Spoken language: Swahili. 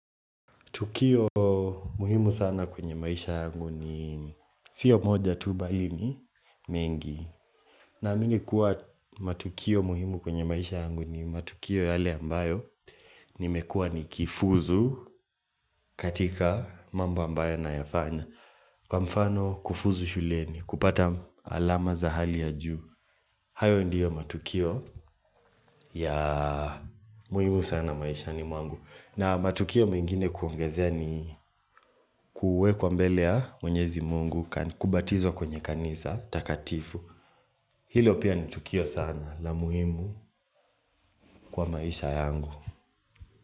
Tukio muhimu sana kwenye maisha yangu ni sio moja tu bali ni mengi. Naamini kuwa matukio muhimu kwenye maisha yangu ni matukio yale ambayo nimekua ni kifuzu katika mambo ambayo na yafanya. Kwa mfano kufuzu shuleni, kupata alama za hali ya juu. Hayo ndiyo matukio ya muhimu sana maisha ni mwangu. Na matukio mengine kuongezea ni kuwekwa mbele ya mwenyezi mungu kubatizwa kwenye kanisa takatifu. Hilo pia ni tukio sana la muhimu kwa maisha yangu.